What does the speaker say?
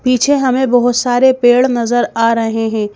पीछे हमें बहुत सारे पेड़ नजर आ रहे हैं।